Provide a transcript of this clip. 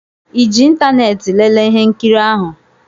ịji ịntanetị lelee ihe nkiri ahụ?